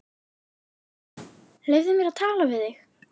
Leyfðu mér að tala við þig!